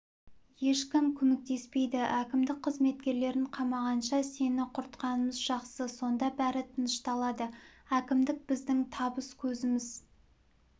ешкім көмектеспейді әкімдік қызметкерлерін қамағанша сені құртқанымыз жақсы сонда бәрі тынышталады әкімдік біздің табыс көзіміз